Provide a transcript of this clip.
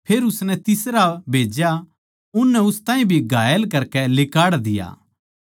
फेर उसनै तीसरा भेज्या उननै उस ताहीं भी घायल करकै लिकाड़ दिया